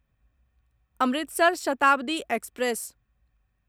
Amritsar Shatabdi express